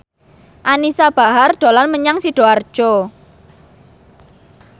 Anisa Bahar dolan menyang Sidoarjo